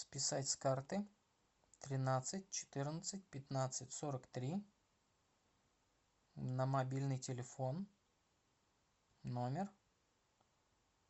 списать с карты тринадцать четырнадцать пятнадцать сорок три на мобильный телефон номер